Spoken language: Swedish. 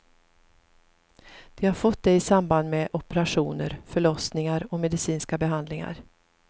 De har fått det i samband med operationer, förlossningar och medicinska behandlingar.